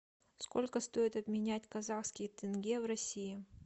сколько стоит обменять казахский тенге в россии